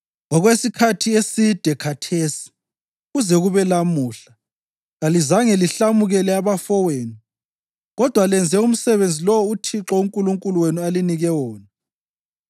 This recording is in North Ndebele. Okwesikhathi eside khathesi, kuze kube lamuhla, kalizange lihlamukele abafowenu kodwa lenze umsebenzi lowo uThixo uNkulunkulu wenu alinike wona.